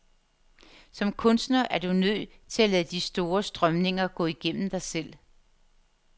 Som kunstner er du nødt til at lade de store strømninger gå igennem dig selv.